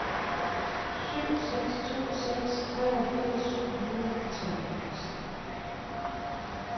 syv seks to seks treogfirs syv hundrede og treogfirs